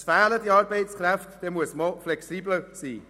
Es fehlen Arbeitskräfte, dann muss man auch flexibler sein.